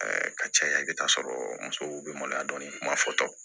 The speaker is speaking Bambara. ka caya i bɛ taa sɔrɔ musow bɛ maloya dɔɔni kuma fɔtɔ